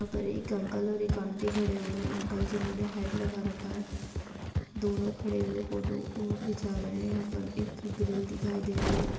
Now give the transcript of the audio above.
यहाँ पर एक अंकल और एक आंटी खड़े हुए हैं अंकल जिन्होंने हैट लगा रखा है दोनों खड़े हुए फोटो खींचा रहे हैं यहाँ पर एक ग्रिल दिखाई दे रही है।